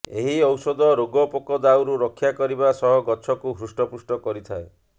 ଏହି ଔଷଧ ରୋଗପୋକ ଦାଉରୁ ରକ୍ଷା କରିବା ସହ ଗଛକୁ ହୃଷ୍ଟପୃଷ୍ଟ କରିଥାଏ